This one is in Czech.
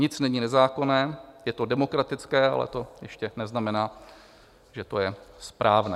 Nic není nezákonné, je to demokratické, ale to ještě neznamená, že to je správné.